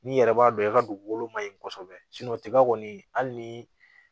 N'i yɛrɛ b'a dɔn i ka dugukolo ma ɲi kɔsɔbɛ tiga kɔni hali ni